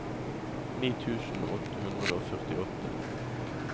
ni tusen åtte hundre og førtiåtte